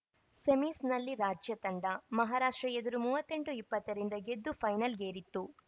ಸೆಮೀಸ್‌ನಲ್ಲಿ ರಾಜ್ಯ ತಂಡ ಮಹಾರಾಷ್ಟ್ರ ಎದುರು ಮೂವತ್ತ್ ಎಂಟು ಇಪ್ಪತ್ತರಿಂದ ಗೆದ್ದು ಫೈನಲ್‌ಗೇರಿತ್ತು